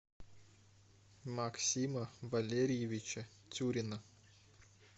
максима валерьевича тюрина